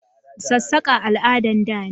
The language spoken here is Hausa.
Sassaka al'adan da ne